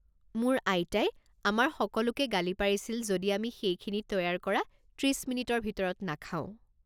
মোৰ আইতাই আমাৰ সকলোকে গালি পাৰিছিল যদি আমি সেইখিনি তৈয়াৰ কৰা ত্ৰিছ মিনিটৰ ভিতৰত নাখাওঁ।